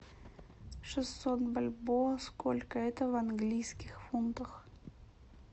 шестьсот бальбоа сколько это в английских фунтах